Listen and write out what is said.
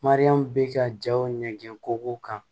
Mariyamu bi ka jaw ɲɛgɛn kow kan